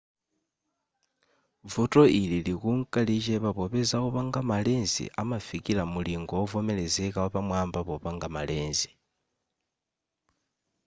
vuto ili likunka lichepa popeza opanga ma lens amafikira mulingo wovomerezeka wapamwaba popanga ma lens